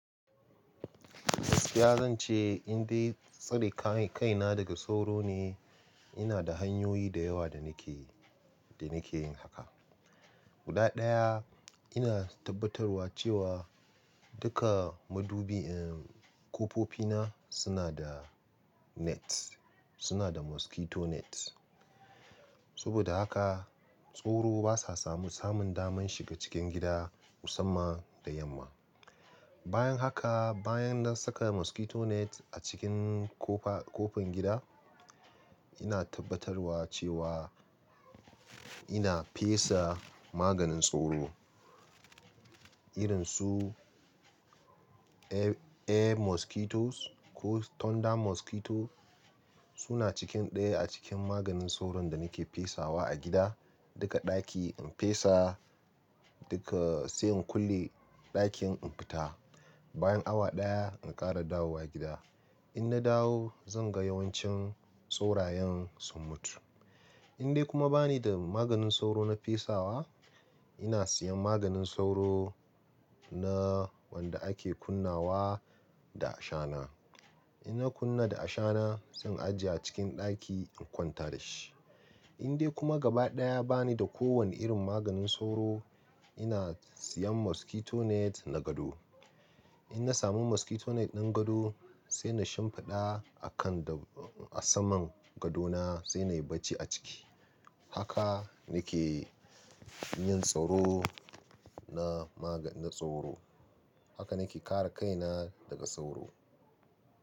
Ya zan ce in dai tsare kai-kaina daga tsoro ne, ina da hanyoyi da yawa da nake, da nake yin haka. Guda ɗaya, ina tabbatarwa cewa duka madubi, ƙofofi na suna da net, suna da mosquito net. Saboda haka tsoro basa samu samun daman shiga cikin gida musamman da yamma. Bayan haka, bayan na saka mosquito net a cikin ƙofa-ƙofin gida, ina tabbatarwa cewa ina fesa maganin tsoro irin su A-A Mosquito ko Tonda Mosquito suna cikin ɗaya a cikin maganin soron da nake fesawa a gida. Duka ɗaki in fesa, duka sai in kulle ɗakin in fita. Bayan awa ɗaya in ƙara dawowa gida. In na dawo zan ga yawancin tsorayen sun mutu. In dai kuma bani da maganin sauro na fesawa, ina siyan maganin sauro na wanda ake kunnawa da ashana. In na kunna da ashana zan ajiye a cikin ɗaki in kwanta da shi. In dai kuma gaba ɗaya bani da kowane irin maganin sauro, ina siyan mosquito net na gado. In na samu mosquito net ɗin gado sai na shimfiɗa a kan da a saman gadona sai na yi bacci a ciki. Haka nake yin tsoro na maga-na tsoro. Haka nake kare kaina daga tsoro.